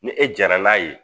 Ni e jɛnna n'a ye